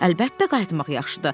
Əlbəttə qayıtmaq yaxşıdır.